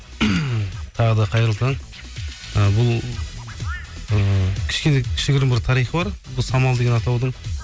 тағы да қайырлы таң і бұл ыыы кішкене кішігірім бір тарихы бар бұл самал деген атаудың